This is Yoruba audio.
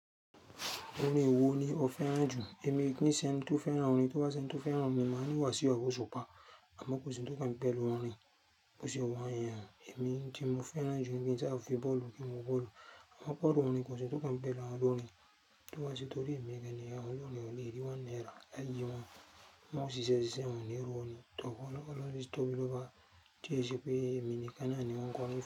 Orin wo ni o fẹ́ràn jù? Èmi ni sẹ́n tó fẹ́ràn orin, tó bá sẹ́n tó fẹ́ràn orin, mo máa ni wàsíu abi osupa. Àmọ́ kò sí ohun tó kan pẹ̀lú orin. Kò sí ohun ayan. Èmi tí mo fẹ́ràn jù ni tí a fi bọ́ọ̀lù kí n wo bọ́ọ̀lù. Mọ́ gbádùn orin, kò sí ohun tó kàn mí pẹ̀lú àwọn olórin. Tó bá sẹ́n tó rí èmi gẹ́gẹ́ bí ọlọ́rọ̀ orin lè rí wá ní ẹran, láì yí wá. Mo sì ṣẹ̀ṣẹ̀ sín orin, orin tó wọlé lọ́wọ́ tí o bí lọ bá Jésù pé èmi ni kí a ní wọn kọ́ orin fún.